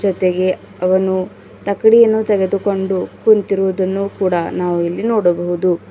ಜೊತೆಗೆ ಅವನು ತಕ್ಕಡಿಯನ್ನು ತೆಗೆದುಕೊಂಡು ಕುಂತಿರುವುದನ್ನು ಕೂಡ ನಾವು ಇಲ್ಲಿ ನೋಡಬಹುದು.